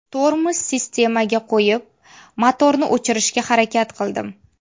Tormoz sistemaga qo‘yib, motorni o‘chirishga harakat qildim.